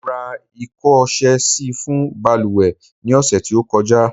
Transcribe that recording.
Mo ra iko ọ̀sẹ̀ sì fún baluwe ni ose tí ó kọjá